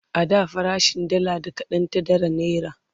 a da farashin dalla da kaɗan ta ɗara naira